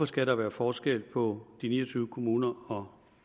skal være forskel på de ni og tyve kommuner og